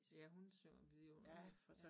Ja hun synger vidunderligt ja